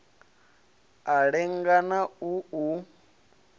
a lenga na u u